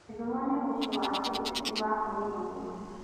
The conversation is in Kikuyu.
Gĩthumo nĩ mũciĩ wa kĩũteti wa ũrũmwe.